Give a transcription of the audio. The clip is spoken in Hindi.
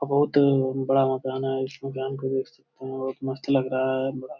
अ बहुत बड़ा मकान है इस मकान को देख सकते हैं बहुत मस्त लग रहा है बड़ा।